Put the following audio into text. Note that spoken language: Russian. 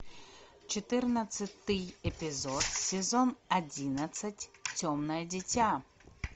четырнадцатый эпизод сезон одиннадцать темное дитя